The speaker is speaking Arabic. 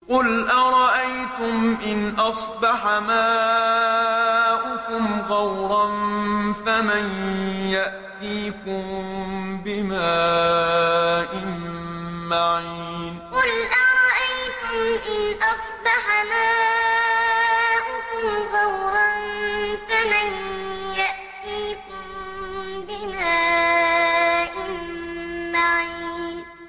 قُلْ أَرَأَيْتُمْ إِنْ أَصْبَحَ مَاؤُكُمْ غَوْرًا فَمَن يَأْتِيكُم بِمَاءٍ مَّعِينٍ قُلْ أَرَأَيْتُمْ إِنْ أَصْبَحَ مَاؤُكُمْ غَوْرًا فَمَن يَأْتِيكُم بِمَاءٍ مَّعِينٍ